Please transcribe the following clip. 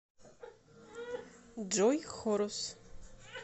джой хорус